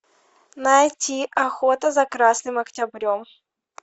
найти охота за красным октябрем